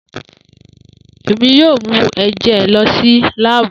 Emi yoo mu ẹjẹ lọ si laabu.